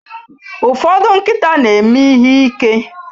Ụfọdụ nkịta na-eme ihe ike.